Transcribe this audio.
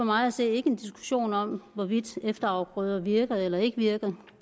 mig at se ikke en diskussion om hvorvidt efterafgrøder virker eller ikke virker